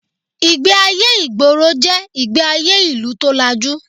Ìgbé-ayé ìgboro jẹ́ ìgbé-ayé ìlú tó lajú